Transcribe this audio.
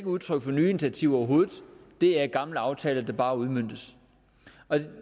udtryk for nye initiativer overhovedet det er gamle aftaler der bare udmøntes